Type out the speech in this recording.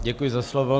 Děkuji za slovo.